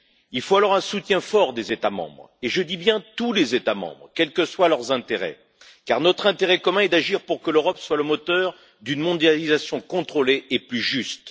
Il faut donc un soutien fort des États membres, et je dis bien de tous les États membres, quels que soient leurs intérêts, car notre intérêt commun est d'agir pour que l'Europe soit le moteur d'une mondialisation contrôlée et plus juste.